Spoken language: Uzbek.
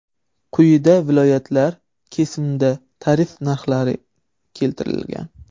Quyida viloyatlar kesimida tarif narxlari keltirilgan.